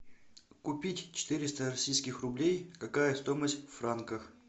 купить четыреста российских рублей какая стоимость в франках